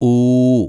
ഊ